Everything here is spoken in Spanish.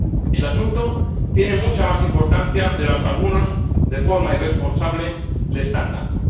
El asunto tiene mucha más importancia de la que algunos, de forma irresponsable, le están dando.